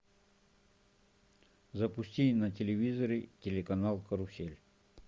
запусти на телевизоре телеканал карусель